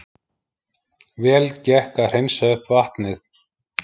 Vel gekk að hreinsa upp vatnið